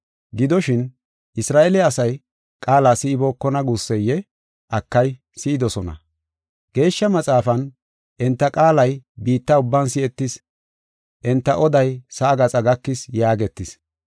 Gidoshin, Isra7eele asay qaala si7ibookona guusseyee? Akay, si7idosona. Geeshsha Maxaafan, “Enta qaalay biitta ubban si7etis, enta oday sa7aa gaxa gakis” yaagetis.